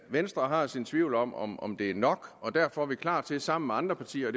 venstre har sine tvivl om om om det er nok og derfor er vi klar til sammen med andre partier